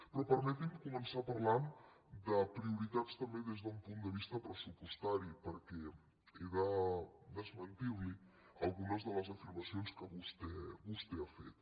però permeti’m començar parlant de prioritats també des d’un punt de vista pressupostari perquè he de desmentir li algunes de les afirmacions que vostè ha fet